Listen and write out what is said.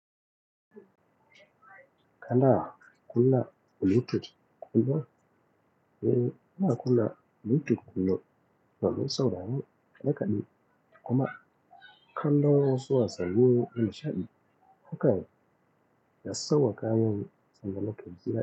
Kana kuna Bluetooth kullum? Eee, ina kunna Bluetooth kullum domin saurani na kaɗi, kuma kallon wasu wasannin na sha'ani. Hakan ya sauƙa min zama lokacin gida.